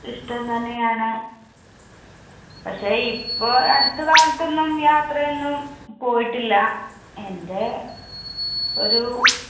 ഇഷ്ടം തന്നെ ആണ്. പക്ഷെ ഇപ്പൊ അടുത്ത കാലത്തൊന്നും യാത്ര ഒന്നും പോയിട്ടില്ല. എന്റെ ഒരു